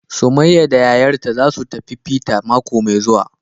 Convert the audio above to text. Summaiya da yayarta zasu tafi fita mako Mai zue.wa,.